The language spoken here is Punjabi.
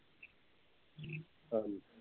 ਹਾਂ ਜੀ